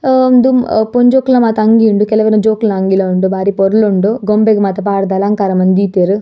ಹ ಉಂದು ಪೊಂಜೋಕುಲ್ನ ಮಾತ ಅಂಗಿ ಉಂಡು ಕೆಲವೆರ್ನ ಜೋಕುಲ್ನ ಅಂಗಿಲ ಉಂಡು ಬಾರಿ ಪೊರ್ಲುಂಡು ಗೊಂಬೆಗ್ ಮಾತ ಪಾಡ್ದ್ ಅಲಂಕಾರ ಮಂತ್ ದೀತೆರ್.